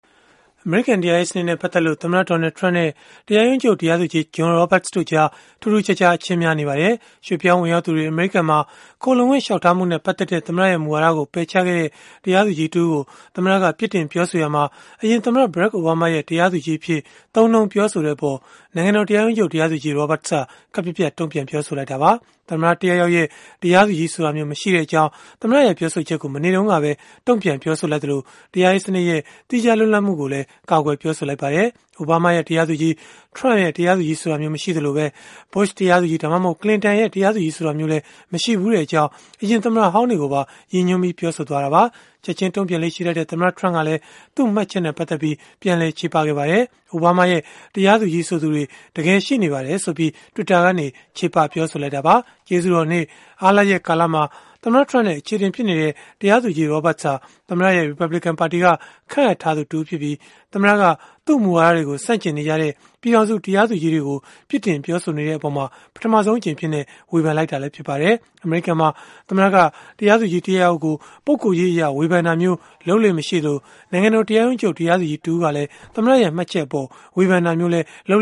အမေရိကန် တရားရေးစနစ်နဲ့ ပတ်သက်လို့ သမ္မတ Donald Trump နဲ့ တရားရုံးချုပ် တရားသူကြီး John Roberts တို့ကြား ထူးထူးခြားခြား အချင်းများနေကြပါတယ်။ ရွှေ့ပြောင်းဝင်ရောက်သူတွေ အမေရိကန်မှာ ခိုလှုံခွင့်လျှောက်ထားမှုနဲ့ ပတ်သက်တဲ့ မူဝါဒကို ပယ်ချခဲ့တဲ့ တရားသူကြီး တဦးကို သမ္မတက ပြစ်တင်ပြောဆိုရာမှာ အရင်သမ္မတ Barack Obama ရဲ့ တရားသူကြီးအဖြစ် သုံးနှုန်းပြောဆိုခဲ့တဲ့အပေါ် နိုင်ငံတော် တရားရုံးချုပ်တရားသူကြီး Roberts က ခပ်ပြတ်ပြတ် တုံ့ပြန်ခဲ့တာပါ။ သမ္မတတယောက်ယောက်ရဲ့ တရားသူကြီးဆိုတာမျိုး မရှိတဲ့အကြောင်း သမ္မတရဲ့ ပြောဆိုချက်ကို မနေ့တုန်းကပဲ တုံ့ပြန်ပြောဆိုလိုက်သလို၊ တရားရေးစနစ်ရဲ့ သီးခြားလွတ်လပ်မှုကို ကာကွယ် ပြောဆိုလိုက်ပါတယ်။ Obama ရဲ့ တရားသူကြီး၊ Trump ရဲ့ တရားသူကြီးဆိုတာမျိုး မရှိသလို၊ Bush တရားသူကြီး ဒါမှမဟုတ် Clinton တရားသူကြီး ဆိုတာမျိုးလည်း မရှိဘူးတဲ့အကြောင်း အရင်သမ္မတဟောင်းတွေကိုပါ ရည်ညွန်း ပြောဆိုခဲ့တာပါ။ ချက်ခြင်းတုံ့ပြန်လေ့ရှိတတ်တဲ့ သမ္မတTrump ကလည်း သူ့မှတ်ချက်နဲ့ ပတ်သက်လို့ ချေပခဲ့ပါတယ်။ အိုဘားမားရဲ့ တရားသူကြီး ဆိုသူတွေ တကယ်ရှိပါတယ်ဆိုပြီး Twitter ကနေ ချေပခဲ့တာပါ။ ကျေးဇူးတော်နေ့ အားလပ်ရက်ကာလမှာ သမ္မတ Trump နဲ့ အချေအတင် ဖြစ်နေတဲ့ တရားသူကြီး Roberts ဟာ သမ္မတရဲ့ ရီပတ်ဘလစ်ကန်ပါတီက ခန့်အပ်ထားသူ တဦးဖြစ်ပြီး၊ သမ္မတက သူ့မူဝါဒတွေကို ဆန့်ကျင်နေကြတဲ့ ပြည်ထောင်စု တရားသူကြီးတွေကို ပြစ်တင်ပြောဆိုနေတဲ့အပေါ် ပထမဆုံးအကြိမ်အဖြစ် ဝေဖန်လိုက်တာလည်း ဖြစ်ပါတယ်။ အမေရိကန်မှာ သမ္မတက တရားသူကြီး တယောက်ယောက်ကို ပုဂ္ဂိုလ်ရေးအရ ဝေဖန်တာမျိုး လုပ်လေ့မရှိသလို၊ နိုင်ငံတော် တရားရုံးချုပ်တရားသူကြီး တဦးက သမ္မတရဲ့ မှတ်ချက်အပေါ် ဝေဖန်တာမျိုးလည်း လုပ်